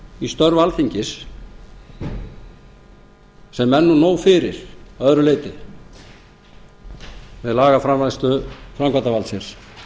í störf alþingis sem er nú nóg fyrir að öðru leyti með lagaframfærslu framkvæmdarvaldsins